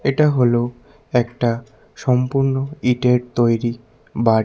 এটা হলো একটা সম্পূর্ন ইঁটের তৈরি বাড়ি।